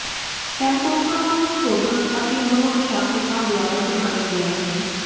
ਟੈਂਪੋਕ੍ਰਾਂ ਨੂੰ ਸੋਧਕ ਅਤੇ ਮਨੋਦਸ਼ਾਕਰਤਾ ਦੁਆਰਾ ਸੁਧਾਰਿਆ ਗਿਆ ਹੈ